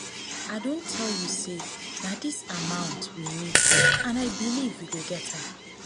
make una set all dis chairs well na big people we dey expect